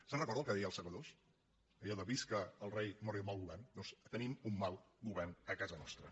se’n recorda el que deia els segadors allò de visca el rei mori el mal govern doncs tenim un mal govern a casa nostra